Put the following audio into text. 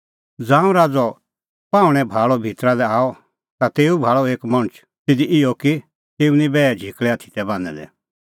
ज़ांऊं राज़अ पाहुंणैं भाल़अ भितरा लै आअ ता तेऊ भाल़अ एक मणछ तिधी इहअ कि तेऊ निं बैहे झिकल़ै आथी तै बान्हैं दै